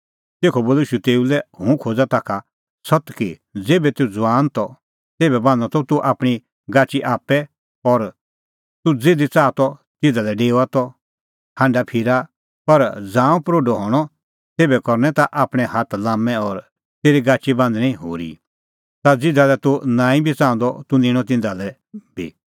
तेखअ बोलअ ईशू तेऊ लै हुंह खोज़ा ताखा सत्त कि ज़ेभै तूह ज़ुआन त तेभै बान्हां त तूह आपणीं गाची आप्पै और तूह ज़िधी च़ाहा त तिधा लै डेओआ त हांढाफिरा पर ज़ांऊं प्रोढअ हणअ तेभै करनै ताह आपणैं हाथ लाम्मै और तेरी गाची बान्हणीं होरी ता ज़िधा लै तूह नांईं बी च़ाहंदअ तूह निंणअ तिन्नां तिधा लै बी